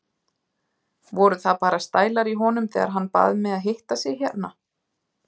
Voru það bara stælar í honum þegar hann bað mig að hitta sig hérna?